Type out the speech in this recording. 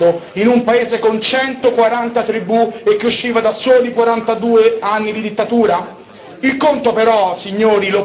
Era così difficile immaginarlo, in un paese con centoquaranta tribù e che usciva da soli quarantadue anni di dittatura?